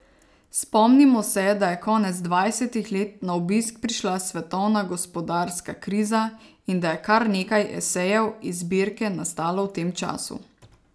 Spomnimo se, da je konec dvajsetih let na obisk prišla svetovna gospodarska kriza in da je kar nekaj esejev iz zbirke nastalo v tem času.